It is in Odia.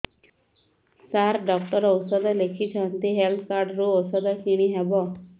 ସାର ଡକ୍ଟର ଔଷଧ ଲେଖିଛନ୍ତି ହେଲ୍ଥ କାର୍ଡ ରୁ ଔଷଧ କିଣି ହେବ